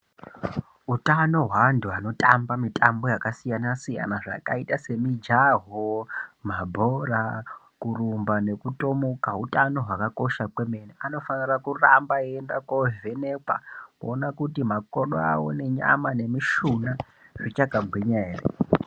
Utano hweantu anotamba mitambo yakasiyana siyana zvakaita semijaho, mabhora , kurumba nekutomuka hutano hwakakosha kwemene anofanira kuramba eienda kovhenekwa kuona kuti makodo awo nenyama nemishuna zvichakagwinya ere.